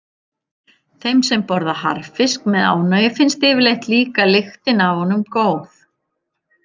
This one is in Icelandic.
Þeim sem borða harðfisk með ánægju finnst yfirleitt líka lyktin af honum góð.